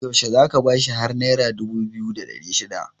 yaushe za ka bashi har naira dubu biyu da Sha shida